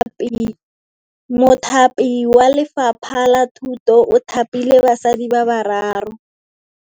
Mothapi wa Lefapha la Thutô o thapile basadi ba ba raro.